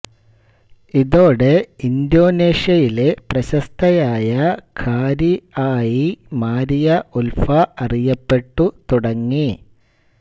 ഇതോടെ ഇന്തോനേഷ്യയിലെ പ്രശസ്തയായ ഖാരിഅ് ആയി മാരിയ ഉൽഫ അറിയപ്പെട്ടു തുടങ്ങി